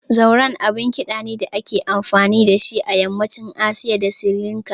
Zurna abun ƙida ne da ake amfani da shi a yammacin Asiya da Sirilanka.